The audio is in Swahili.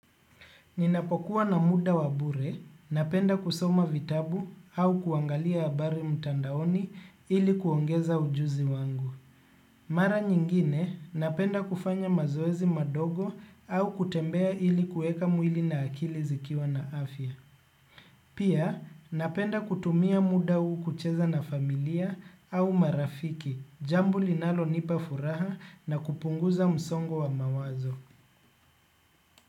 Ninapokuwa na muda wabure, napenda kusoma vitabu au kuangalia habari mtandaoni ili kuongeza ujuzi wangu. Mara nyingine, napenda kufanya mazoezi madogo au kutembea ili kueka mwili na akili zikiwa na afya. Pia, napenda kutumia muda huu kucheza na familia au marafiki, jambo linalonipa furaha na kupunguza msongo wa mawazo.